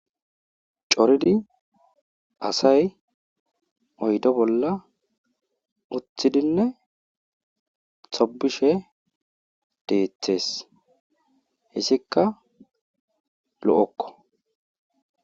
coridi asay oydo bolla uthidinne xobishe deeththees hessikka lo7okko